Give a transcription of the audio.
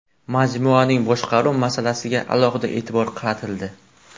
Majmuaning boshqaruv masalasiga alohida e’tibor qaratildi.